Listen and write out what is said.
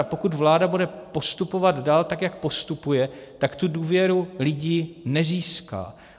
A pokud vláda bude postupovat dál tak, jak postupuje, tak tu důvěru lidí nezíská.